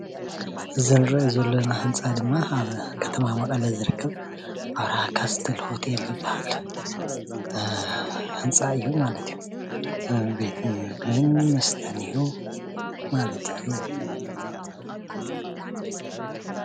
እዚ እንሪኦ ዘለና ህንፃ ድማ ኣብ ከተማ መቐለ ዝርከብ ኣብርሃ ካስትል ሆቴል ዝባሃል ህንፃ እዩ ማለት እዩ፡፡ ቤት ምግብን መስተን እዩ ማለት እዩ፡፡